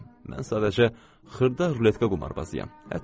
Mən sadəcə xırda ruletka qumarbazıyam.